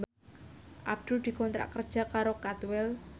Abdul dikontrak kerja karo Cadwell